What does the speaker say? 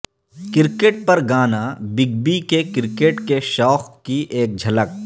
cricket پر گانا big B کے کرکٹ کے شوق کی ایک جھلک